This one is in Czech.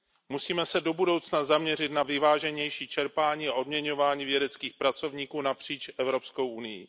Musíme se do budoucna zaměřit na vyváženější čerpání a odměňování vědeckých pracovníků napříč Evropskou unií.